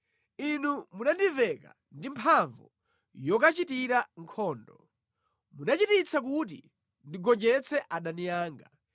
Inu munandiveka ndi mphamvu yokachitira nkhondo, munachititsa kuti ndigonjetse adani anga.